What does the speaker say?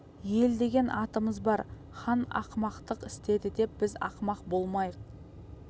ел деген атымыз бар хан ақымақтық істеді деп біз ақымақ болмайық